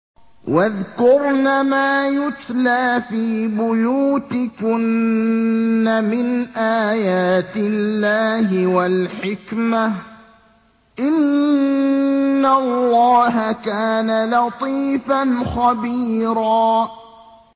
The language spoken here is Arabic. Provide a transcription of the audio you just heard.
وَاذْكُرْنَ مَا يُتْلَىٰ فِي بُيُوتِكُنَّ مِنْ آيَاتِ اللَّهِ وَالْحِكْمَةِ ۚ إِنَّ اللَّهَ كَانَ لَطِيفًا خَبِيرًا